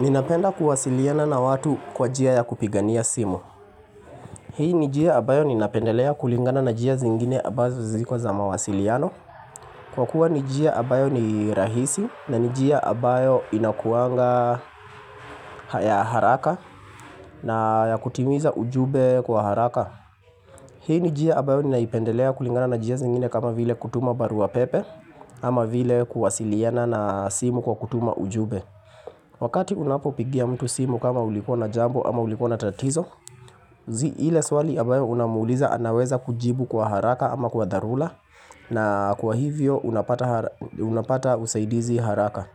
Ninapenda kuwasiliana na watu kwa njia ya kupigania simu Hii ni njia ambayo ninapendelea kulingana na njia zingine ambazo ziko za mawasiliano Kwa kuwa ni njia ambayo ni rahisi na ni njia ambayo inakuanga haya haraka na ya kutimiza ujumbe kwa haraka Hii ni njia ambayo ninaipendelea kulingana na njia zingine kama vile kutuma baruapepe ama vile kuwasiliana na simu kwa kutuma ujumbe Wakati unapopigia mtu simu kama ulikua na jambo ama ulikua na tatizo, ile swali ambayo unamuuliza anaweza kujibu kwa haraka ama kwa darura na kwa hivyo unapata usaidizi haraka.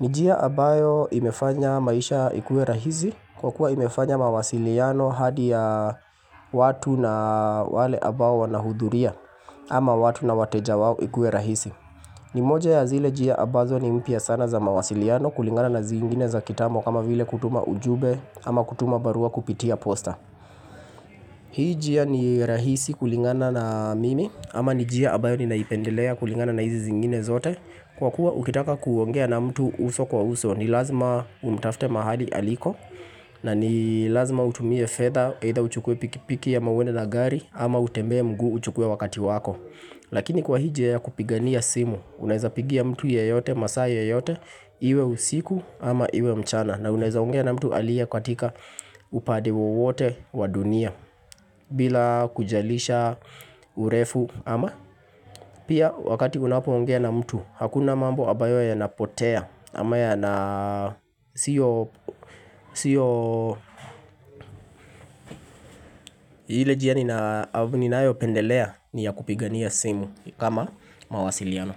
Ni njia ambayo imefanya maisha ikue rahisi kwa kuwa imefanya mawasiliano hadi ya watu na wale ambao wanahudhuria ama watu na wateja wao ikuwe rahisi. Ni moja ya zile njia ambazo ni mpya sana za mawasiliano kulingana na zingine za kitambo kama vile kutuma ujumbe ama kutuma barua kupitia posta Hii njia ni rahisi kulingana na mimi ama ni njia ambayo ninaipendelea kulingana na hizi zingine zote Kwa kuwa ukitaka kuongea na mtu uso kwa uso ni lazima umtafte mahali aliko na ni lazima utumie fedha either uchukue pikipiki ama uende na gari ama utembee mguu uchukue wakati wako Lakini kwa hii njia ya kupigania simu Unaeza pigia mtu yeyote, masaa yeyote Iwe usiku ama iwe mchana na unaeza ongea na mtu aliye katika upande wowote wa dunia bila kujalisha urefu ama Pia wakati unapoongea na mtu Hakuna mambo ambayo yanapotea ama yana sio Sio ile njia ninayopendelea ni ya kupigania simu kama mawasiliano.